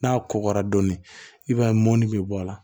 N'a kɔgɔra dɔɔnin i b'a ye mɔni bɛ bɔ a la